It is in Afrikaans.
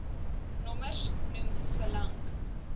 nommers noem solank